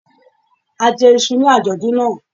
A jẹ iṣu ní àjọ̀dún náà.